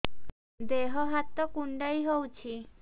ଦେହ ହାତ କୁଣ୍ଡାଇ ହଉଛି